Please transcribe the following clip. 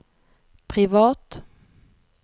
privat